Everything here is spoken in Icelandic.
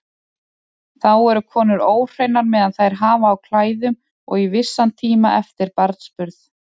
Þá eru konur óhreinar meðan þær hafa á klæðum og í vissan tíma eftir barnsburð.